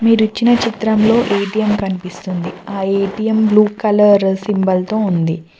మీరిచ్చిన చిత్రం లో ఎ_టీ_ఏం కనిపిస్తుంది ఆ ఎ_టీ_ఏం బ్లూ కలర్ సింబల్ తో ఉంది.